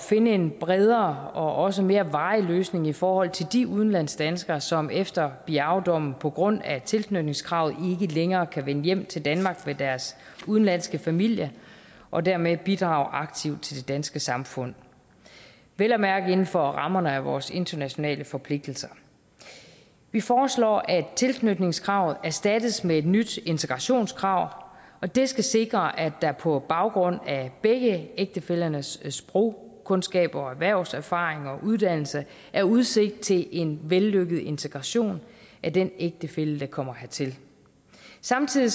finde en bredere og også mere varig løsning i forhold til de udlandsdanskere som efter biao dommen på grund af tilknytningskravet ikke længere kan vende hjem til danmark med deres udenlandske familie og dermed bidrage aktivt til det danske samfund vel at mærke inden for rammerne af vores internationale forpligtelser vi foreslår at tilknytningskravet erstattes med et nyt integrationskrav og det skal sikre at der på baggrund af begge ægtefællernes sprogkundskaber og erhvervserfaring og uddannelse er udsigt til en vellykket integration af den ægtefælle der kommer hertil samtidig